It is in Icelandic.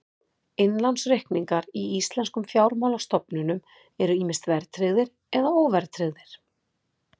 Innlánsreikningar í íslenskum fjármálastofnunum eru ýmist verðtryggðir eða óverðtryggðir.